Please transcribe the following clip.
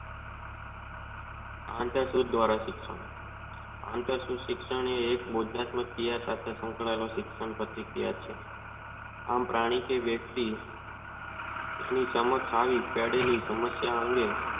આવતા શુદ્ધ આંતર શિક્ષણ એક બોધા યાન શિક્ષણ સાથે શંકાયેલું છે આમ પ્રાણી કે વયકતી આની સમક્ષ આવી તેડેલી સમસ્યા અંગે.